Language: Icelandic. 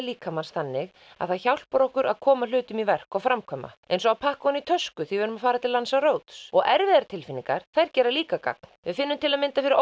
líkamans þannig að það hjálpar okkur að koma hlutum í verk og framkvæma eins og að pakka ofan í tösku þegar við erum að fara til Lanzarote og erfiðar tilfinningar þær gera líka gagn við finnum til dæmis fyrir